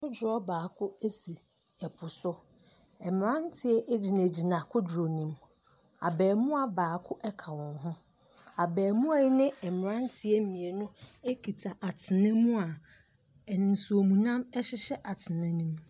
Kodoɔ baako ɛsi ɛpo so. Mmranteɛ gyina gyina kodoɔ no mu. Abaamua baako ɛka wɔn ho. Abaamua ne mmranteɛ mienu ɛkita atena mu a nsuo mu nam ɛhyehyɛ atena no mu.